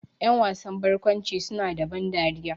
Ƴan wasan barkwanci su na da ban dariya